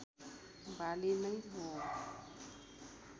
बाली नै हो